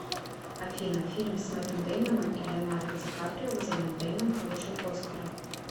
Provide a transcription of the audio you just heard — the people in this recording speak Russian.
афина фильм с мэттом деймоном и леонардо ди каприо где мэтт деймон получил оскара